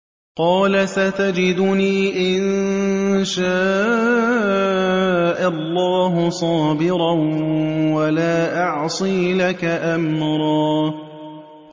قَالَ سَتَجِدُنِي إِن شَاءَ اللَّهُ صَابِرًا وَلَا أَعْصِي لَكَ أَمْرًا